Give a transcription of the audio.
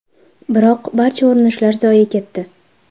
Biroq barcha urinishlar zoye ketdi.